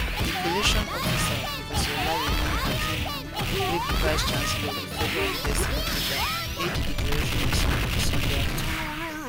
di collation officer prof olayemi akinwunmi wey be vicechancellor of di federal university lokoja make di declaration on sunday sunday afternoon